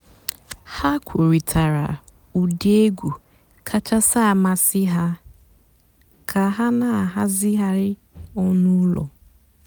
há kwùrị́tárá ụ́dị́ ègwú kàchàsị́ àmásị́ há kà há nà-àhàzị́ghàrị́ ọ̀nú́ ụ́lọ́.